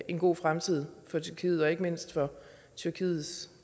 en god fremtid for tyrkiet og ikke mindst for tyrkiets